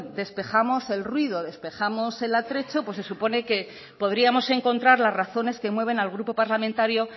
despejamos el ruido despejamos el atrezzo pues se supone que podríamos encontrar las razones que mueven al grupo parlamentario